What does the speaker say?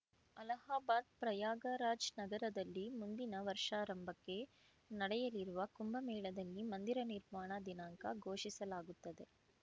ಅಲಹಾಬಾದ್‌ ಪ್ರಯಾಗರಾಜ್‌ ನಗರದಲ್ಲಿ ಮುಂದಿನ ವರ್ಷಾರಂಭಕ್ಕೆ ನಡೆಯಲಿರುವ ಕುಂಭಮೇಳದಲ್ಲಿ ಮಂದಿರ ನಿರ್ಮಾಣ ದಿನಾಂಕ ಘೋಷಿಸಲಾಗುತ್ತದೆ